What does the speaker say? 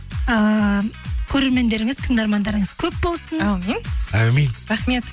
ыыы көрермендеріңіз тыңдармандарыңыз көп болсын әумин әумин рахмет